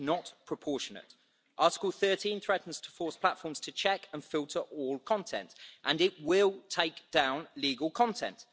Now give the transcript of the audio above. It is not proportionate. Article 13 threatens to force platforms to check and filter all content, and it will take down legal content.